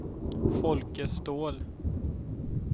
Folke Ståhl